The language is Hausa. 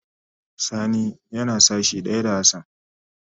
Sani yana sashi daya da Hassan.